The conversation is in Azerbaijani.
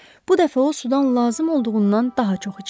Bu dəfə o sudan lazım olduğundan daha çox içdi.